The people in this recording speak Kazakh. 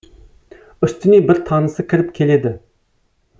үстіне бір танысы кіріп келеді